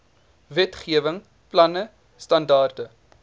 wetgewing planne standaarde